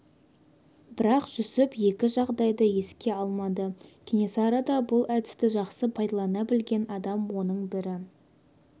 бірақ жүсіп екі жағдайды еске алмады кенесары да бұл әдісті жақсы пайдалана білген адам оның бір